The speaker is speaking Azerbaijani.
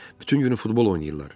Bütün günü futbol oynayırlar.